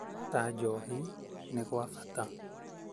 ta njohi nĩ gwa bata.